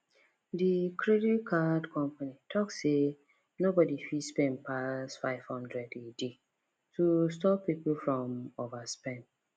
the credit card company talk say nobody fit spend pass 500 a day to stop people from overspend